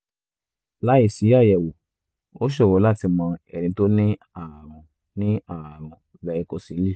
láìsí àyẹ̀wò ó ṣòro láti mọ ẹni tó ní ààrùn ní ààrùn varicocele